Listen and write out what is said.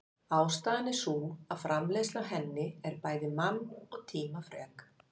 Ástæðan er sú að framleiðsla á henni en bæði mann- og tímafrek.